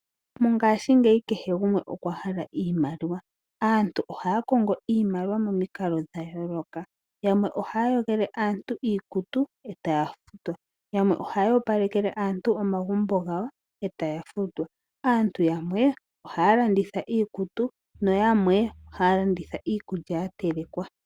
Mongashingeyi kehe gumwe okwa hala iimaliwa, aantu ohaya kongo iimaliwa mo mikalo dha yooloka. Yamwe ohaya yogele aantu iikutu e taya futwa. Yamwe ohaya opalekele aantu omagumbo gawo e taya futwa. Aantu yamwe ohaya landitha iikutu no yamwe ohaya landitha iikulya ya telekwa.